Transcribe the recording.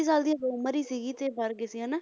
ਸਾਲ ਦੀ ਉਮਰ ਹੀ ਸੀਗੀ ਤੇ ਮਰ ਗਏ ਸੀ ਹਨਾ,